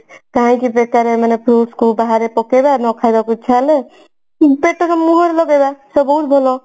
ବେକାରେ ମାନେ fruits କୁ ବାହାରେ ପକେଇବା ନ ଖାଇବାକୁ ଇଚ୍ଛା ହେଲେ ମୁହଁ ରେ ଲଗେଇବା ସବୁଠୁ ଭଲ